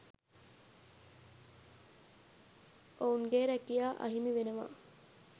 ඔවුන්ගේ රැකියා අහිමිවෙනවා